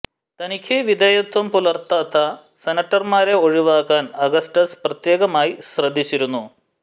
തനിക്ക് വിധേയത്വം പുലർത്താത്ത സെനറ്റർമാരെ ഒഴിവാക്കാൻ അഗസ്റ്റസ് പ്രത്യേകമായി ശ്രദ്ധിച്ചിരുന്നു